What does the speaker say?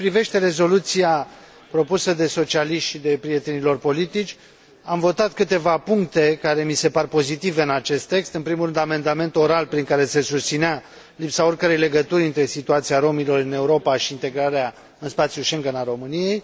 Cât privește rezoluția propusă de socialiști și de prietenii lor politici, am votat câteva puncte care mi se par pozitive în acest text, în primul rând amendamentul oral prin care se susținea lipsa oricărei legături între situația romilor în Europa și integrarea în spațiul Schengen al României.